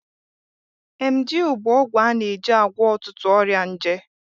Emgyl bụ ọgwụ a na-eji agwọ ọtụtụ ọrịa nje.